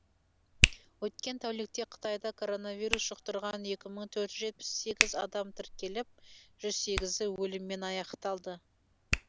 өткен тәулікте қытайда коронавирус жұқтырған екі мың төрт жүз жетпіс сегіз адам тіркеліп жүз сегізі өліммен аяқталды